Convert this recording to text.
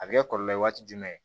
A bɛ kɛ kɔlɔlɔ ye waati jumɛn